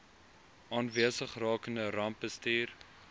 aanwesig rakende rampbestuur